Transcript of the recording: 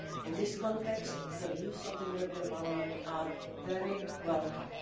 In this context, the views of the European Parliament are very welcome.